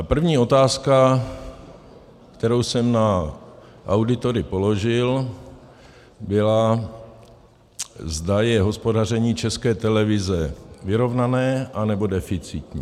A první otázka, kterou jsem na auditory položil, byla, zda je hospodaření České televize vyrovnané, nebo deficitní.